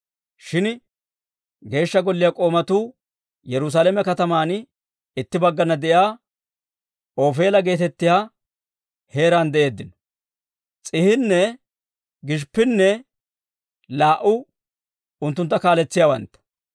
Shin Geeshsha Golliyaa k'oomatuu Yerusaalame kataman itti baggana de'iyaa Ofeela geetettiyaa heeraan de'eeddino. S'iihinne Gishippinne laa"u unttuntta kaaletsiyaawantta.